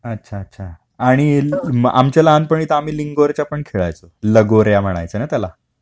अच्छा अच्छा, आणि आमच्या लहानपणी तर आम्ही लिंगोरच्या पण खेळायचो, लगोऱ्या म्हणायचे ना त्याला.